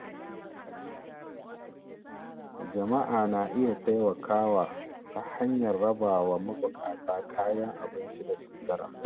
Jama’a na iya taimakawa ta hanyar raba wa mabukata kayan abinci da sutura.